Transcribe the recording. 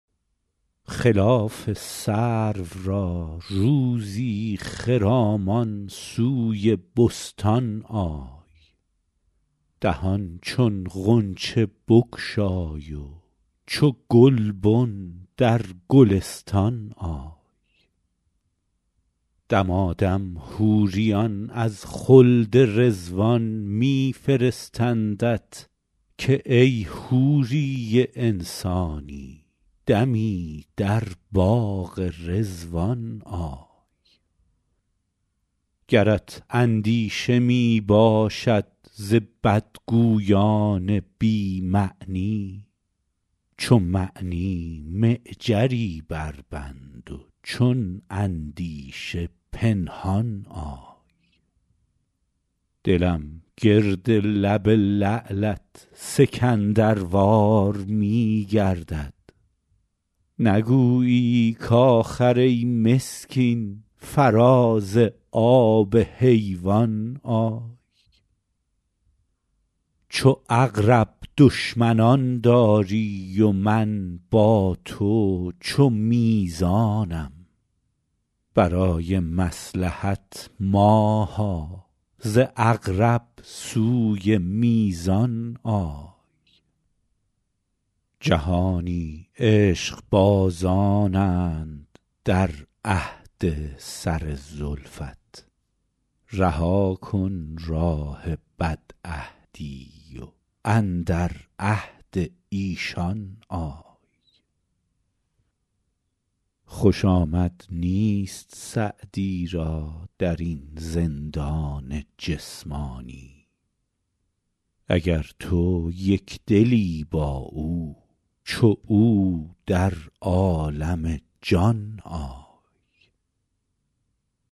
خلاف سرو را روزی خرامان سوی بستان آی دهان چون غنچه بگشای و چو گلبن در گلستان آی دمادم حوریان از خلد رضوان می فرستندت که ای حوری انسانی دمی در باغ رضوان آی گرت اندیشه می باشد ز بدگویان بی معنی چو معنی معجری بربند و چون اندیشه پنهان آی دلم گرد لب لعلت سکندروار می گردد نگویی کآخر ای مسکین فراز آب حیوان آی چو عقرب دشمنان داری و من با تو چو میزانم برای مصلحت ماها ز عقرب سوی میزان آی جهانی عشقبازانند در عهد سر زلفت رها کن راه بدعهدی و اندر عهد ایشان آی خوش آمد نیست سعدی را در این زندان جسمانی اگر تو یک دلی با او چو او در عالم جان آی